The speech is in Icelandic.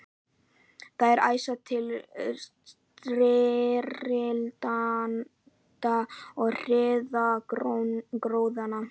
Þeir æsa til styrjalda og hirða gróðann.